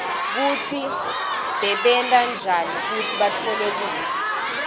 kutsi bebenta njani kutsi batfole kudla